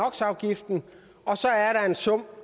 og så er der en sum